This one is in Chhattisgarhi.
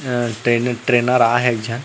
अ ट्रेनर ट्रेनर आ हे एक झन--